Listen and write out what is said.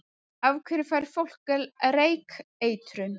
Af hverju fær fólk reykeitrun?